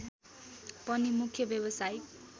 पनि मुख्य व्यावसायिक